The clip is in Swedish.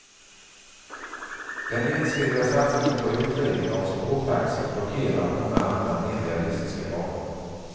Den ensidiga satsningen på utredning av spårtaxi blockerar många andra mer realistiska planer.